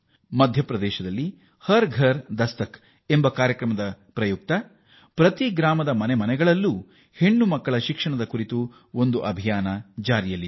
ಮಧ್ಯಪ್ರದೇಶದಲ್ಲಿ ಹರ್ ಘರ್ ದಸ್ತಕ್ ಕಾರ್ಯಕ್ರಮದಡಿ ಪ್ರತಿ ಹಳ್ಳಿಗೆ ಹೋಗಿ ಪ್ರಚಾರ ಮಾಡಿ ಹೆಣ್ಣು ಮಕ್ಕಳ ಶಿಕ್ಷಣಕ್ಕೆ ಉತ್ತೇಜನ ನೀಡಲಾಗುತ್ತಿದೆ